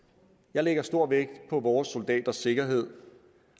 jeg lægger stor vægt på vores soldaters sikkerhed